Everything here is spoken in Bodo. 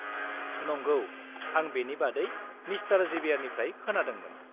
-नंगौ, आं बेनि बादै मिस्टार जेबियारनिफ्राय खोनादोंमोन।